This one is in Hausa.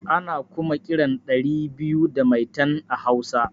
Ana kuma kiran ɗari biyu da maitan a hausa